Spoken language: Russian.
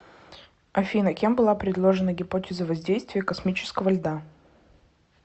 афина кем была предложена гипотеза воздействия космического льда